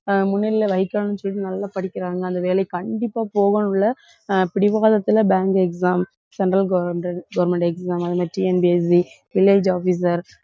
அஹ் முன்னிலையில வைக்கணும்ன்னு சொல்லிட்டு நல்லா படிக்கிறாங்க. அந்த வேலைக்கு கண்டிப்பா போகணும் உள்ள ஆஹ் பிடிவாதத்துல bank examcentral government government exam அது மாதிரி TNPSCvillage officer